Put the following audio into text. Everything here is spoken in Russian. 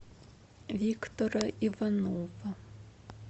виктора иванова